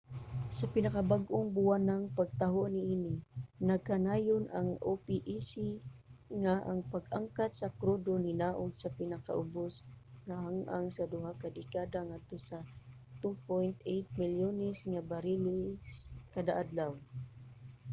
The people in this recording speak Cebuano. sa pinakabag-ong buwanang pagtaho niini nagkanayon ang opec nga ang pag-angkat sa krudo ninaog sa pinakaubos nga ang-ang sa 2 ka dekada ngadto sa 2.8 milyones nga bariles kada adlaw